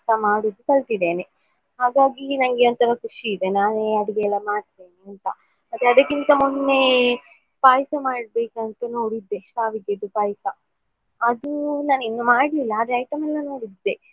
ಮಾಡಿ ಹಾಗಾಗಿ ನಂಗೆ ಒಂತರ ಖುಷಿ ಇದೆ ನಾನು ಅಡುಗೆಲ್ಲಾ ಮಾಡ್ತೇನೆ ಅಂತ ಮತ್ತೆ ಅದ್ಕಕಿಂತ ಮೊನ್ನೇ ಪಾಯ್ಸ ಮಾಡ್ಬೇಕಂತ ನೋಡಿದ್ದೆ ಶ್ಯಾವಿಗೆದ್ದು ಪಾಯ್ಸ ಅದು ನಾನು ಇನ್ನು ಮಾಡ್ಲಿಲ್ಲ ಆದ್ರೆ item ಎಲ್ಲ ನೋಡಿದ್ದೆ.